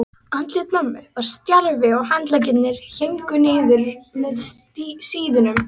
Andlit mömmu var stjarft og handleggirnir héngu niður með síðum.